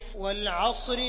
وَالْعَصْرِ